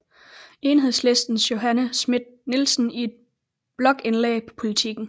Enhedslistens Johanne Schmidt Nielsen i et blogindlæg på Politiken